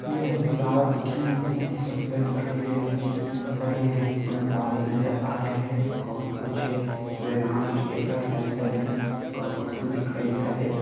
यह नजारा दिखने में बहुत ही सुन्दर दिखाई दे रहा है जिसमें हरे-हरे पेड़-पौधे नजर आ रहे है और कुछ व्यायाम एक्सरसाइज करने का वस्तु दिखाई दे रहा है।